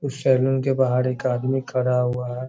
उस सैलून के बाहर एक आदमी खड़ा हुआ है।